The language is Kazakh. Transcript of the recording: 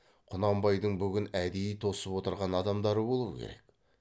құнанбайдың бүгін әдейі тосып отырған адамдары болу керек